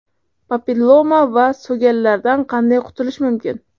Papilloma va so‘gallardan qanday qutulish mumkin?.